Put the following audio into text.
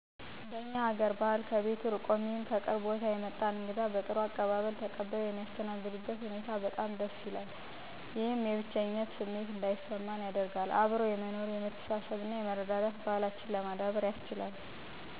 በእኛ ሀገአር ባህል ከቤቱ ርቆም ይሁን ከቅርብ ቦታ የመጣን እንግዳ በጥሩ አቀባበል ተቀብለው የሚያስተናግዱበት ሁኔታ በጣም ደስ ይላል። ስለሆነም እኔ ከቤቴ እርቄ ወይም ከማላውቀው አዲስ ቦታ ለእግድነት ሂጀ በጥሩ አቀባበል ሲቀበሉኝ የሚሰማኝ ስሜት ከቤቴ እርቄ እንዳልሄድሁኝ ማለትም የብቸኝነት ስሜት አይሰማኝም ይህም የሚያመለክተው እኔ በየትም ቦታ ብሄድ ሁሉም እህቴ ወንድሜ(ቤተሰቤ)ጋር እንዳለሁ እና አብሮ የመኖር የመተሳሰብ የመረዳዳት፣ ብሉ ጠጡ የማለት ልምድንም አገኛለሁ።